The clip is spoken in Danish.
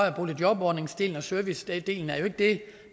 at boligjobordningsdelen og servicedelen er det